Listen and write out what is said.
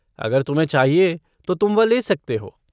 अगर तुम्हें चाहिए तो तुम वह ले सकते हो।